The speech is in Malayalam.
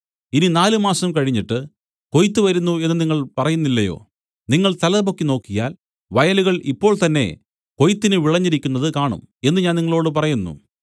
ഇനി നാല് മാസം കഴിഞ്ഞിട്ട് കൊയ്ത്ത് വരുന്നു എന്നു നിങ്ങൾ പറയുന്നില്ലയോ നിങ്ങൾ തലപൊക്കി നോക്കിയാൽ വയലുകൾ ഇപ്പോൾ തന്നേ കൊയ്ത്തിന് വിളഞ്ഞിരിക്കുന്നതു കാണും എന്നു ഞാൻ നിങ്ങളോടു പറയുന്നു